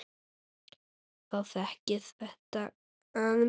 Þá gekk þetta aðeins betur.